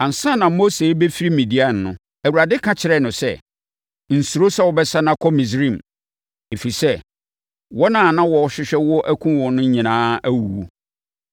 Ansa na Mose rebɛfiri Midian no, Awurade ka kyerɛɛ no sɛ, “Nsuro sɛ wobɛsane akɔ Misraim, ɛfiri sɛ, wɔn a na wɔrehwehwɛ wo akum wo no nyinaa awuwu.”